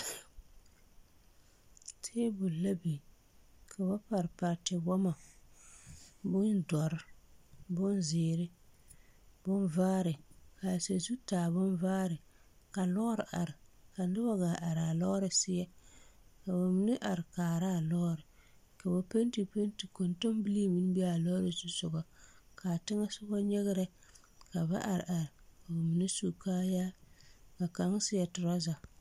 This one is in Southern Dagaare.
Tabole la biŋ ka ba pare pare tiwɔmɔ bondɔre bonzeere bonvaare kaa sazu taa bonvaare ka lɔɔre are ka nobɔ gaa araa lɔɔre seɛ ka ba mine are kaaraa lɔɔre ka ba penti penti koŋtoŋbilii meŋ be a lɔɔre zusugɔ kaa teŋɛ teŋɛsugɔ nyigrɛ ka ba are are mine su kaayaa ka kaŋ seɛ trɔza.